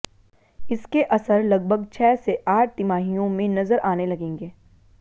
इसके असर लगभग छह से आठ तिमाहियों में नजर आने लगेंगे